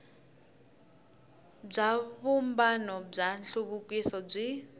bya vumbano wa nhluvukiso byi